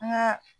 An ka